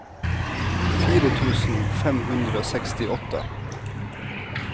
fire tusen fem hundre og sekstiåtte